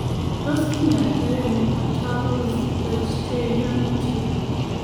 Tos kinyaita ano patulous eustachian tube?